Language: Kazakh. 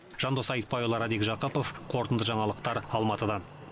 жандос айтбайұлы радик жақыпов қорытынды жаңалықтар алматыдан